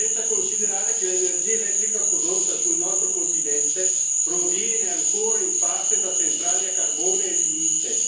Senza considerare che l'energia elettrica prodotta sul nostro continente proviene ancora in parte da centrali a carbone e lignite.